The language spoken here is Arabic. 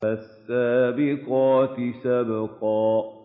فَالسَّابِقَاتِ سَبْقًا